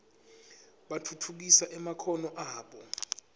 batfutfukise emakhono abo